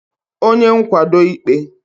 onye nkwado ịkpe